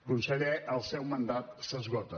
conseller el seu mandat s’esgota